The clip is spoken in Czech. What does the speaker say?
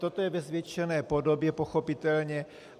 Toto je ve zvětšené podobě, pochopitelně.